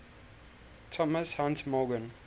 thomas hunt morgan